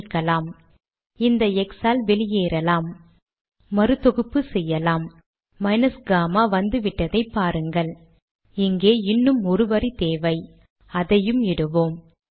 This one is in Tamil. சேமிக்கவும்